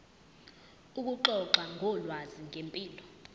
ukuxoxa ngolwazi ngempilo